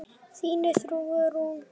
Þín Þuríður Rún.